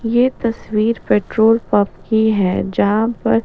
ये तस्वीर petrol pump की जहाँ पर --